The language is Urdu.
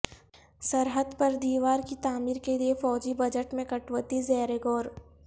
سرحد پر دیوار کی تعمیر کے لئے فوجی بجٹ میں کٹوتی زیر غور